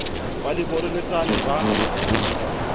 ba le boreletsana ha ba